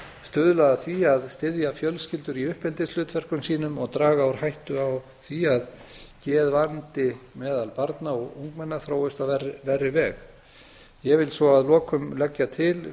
stuðlað að því að styðja fjölskyldur í uppeldishlutverkum sínum og draga úr hættu á að geðvandi meðal barna og ungmenna þróist á verri veg ég vil svo að lokum leggja til